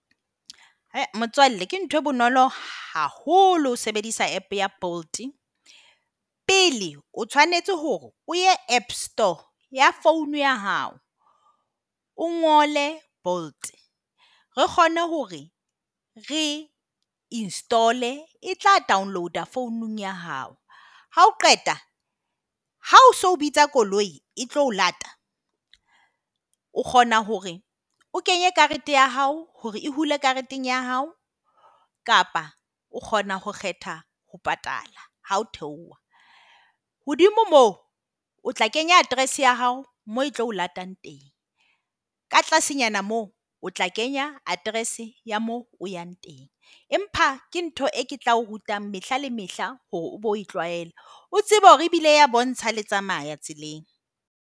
Motswalle, ke ntho e bonolo haholo ho sebedisa app ya Bolt. Pele o tshwanetse hore o ye App store ya phone ya ha. O ngole Bolt. Re kgone hore re install-e. E tla download-a founung ya hao. Ha o qeta ha o se o bitsa koloi e tlo o lata, o kgona hore o kenye karete ya hao hore e hula kareteng ya hao kapa o kgona ho kgetha ho patala ha o theoha. Hodimo moo o tla kenya address ya hao moo e tlo o latang teng. Ka tlasenyana moo o tla kenya address ya moo o yang teng. Empa ke ntho eo ke tla o ruta mehla le mehla hore o bo e tlwaele. O tsebe hore ebile e a o bontsha ha le tsamaya tseleng.